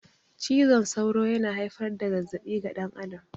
Cizon sauro yana haifar da zazzabi ga dan adam